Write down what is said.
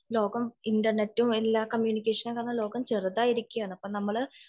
ലോകം ഇന്റർനെറ്റും എല്ലാ കമ്മ്യൂണിക്കേഷൻ ലോകം ചെറുതായിരിക്കയാണ്